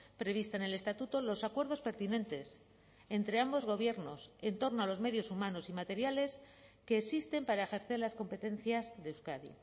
prevista en el estatuto los acuerdos pertinentes entre ambos gobiernos en torno a los medios humanos y materiales que existen para ejercer las competencias de euskadi